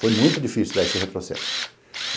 Foi muito difícil dar esse retrocesso.